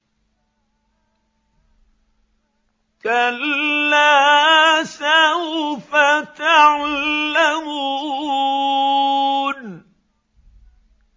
كَلَّا سَوْفَ تَعْلَمُونَ